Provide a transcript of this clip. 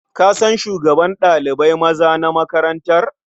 Ka san shugaban ɗalibai maza na makarantar?